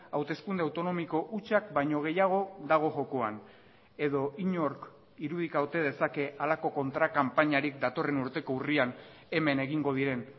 hauteskunde autonomiko hutsak baino gehiago dago jokoan edo inork irudika ote dezake halako kontra kanpainarik datorren urteko urrian hemen egingo diren